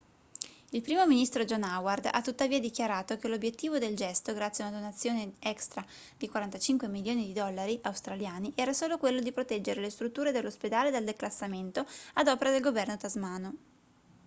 il primo ministro john howard ha tuttavia dichiarato che l'obiettivo del gesto grazie a una donazione extra di 45 milioni di dollari australiani era solo quello di proteggere le strutture dell'ospedale dal declassamento ad opera del governo tasmano